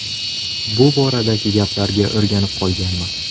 Bu boradagi gaplarga o‘rganib qolganman.